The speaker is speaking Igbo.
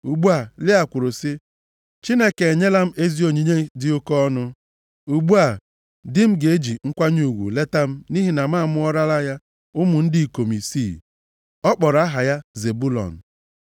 Ugbu a Lịa kwuru sị, “Chineke enyela m ezi onyinye dị oke ọnụ. Ugbu a, di m ga-eji nkwanye ugwu leta m nʼihi na amụọrala m ya ụmụ ndị ikom isii.” Ọ kpọrọ aha ya Zebụlọn.